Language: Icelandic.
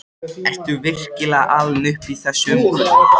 Ertu virkilega alinn upp í þessu umhverfi?